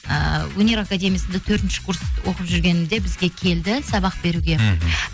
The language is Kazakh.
ыыы өнер академиясында төртінші курс оқып жүргенімде бізге келді сабақ беруге мхм